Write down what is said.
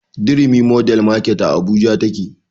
Durumi mordern market a abuja take